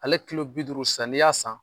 Ale kilo bi duuru sisan, ni ya san